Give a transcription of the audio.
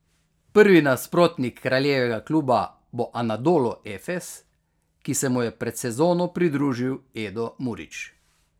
Prvi nasprotnik kraljevega kluba bo Anadolu Efes, ki se mu je pred sezono pridružil Edo Murić.